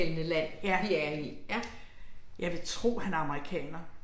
Ja, ja. Jeg vil tro han er amerikaner